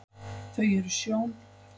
þau eru sjón